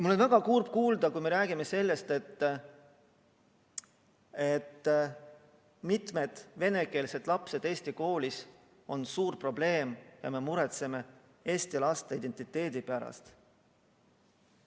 Mul on väga kurb kuulda seda, kui räägime, et venekeelsed lapsed eestikeelses koolis on suur probleem, ja muretseme eesti emakeelega laste identiteedi pärast.